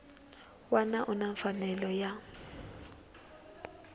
wana u na mfanelo ya